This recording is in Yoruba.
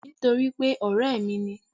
Nítorípé ọ̀rẹ́ ẹ̀ mi ni